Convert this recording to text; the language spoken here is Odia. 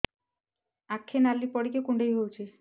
ଆଖି ନାଲି ପଡିକି କୁଣ୍ଡେଇ ହଉଛି